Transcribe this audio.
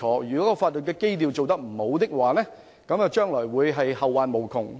如法律基礎打得不好，將會後患無窮。